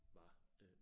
Var øh